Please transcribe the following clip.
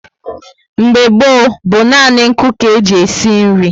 Mgbe gboo bú nani nku ka e ji esi nri